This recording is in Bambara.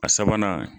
A sabanan